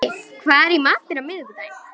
Biddi, hvað er í matinn á miðvikudaginn?